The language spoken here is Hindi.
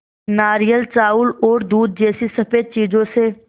नारियल चावल और दूध जैसी स़फेद चीज़ों से